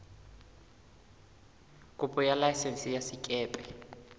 kopo ya laesense ya sekepe